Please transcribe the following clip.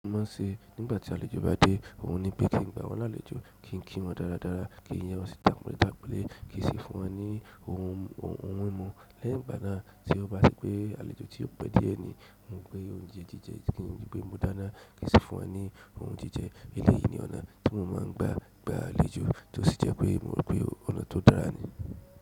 Mo má ṣe nígbà tí àlejò bá dé, òun ni pé kí n gba wọn la àlejò, kí n kí wọn dáradára, kí n yẹ wọn sí tapọnle tapọnle, kí ń sì fún wọn ní oun hun mímú. Lẹ́yìn ìgbà náà tí o bá ṣe pé àlejò tí ó pẹ diẹ ni mo ń pe oúnjẹ ji jẹ kí n ríi pé mo dáná, kí ń sì fún wọn ní oun ji jẹ. Eleyi ni ọnà tí mó má ń gbà àlejò tó sì jẹ pé mo mọ pé ọnà tó dára ni.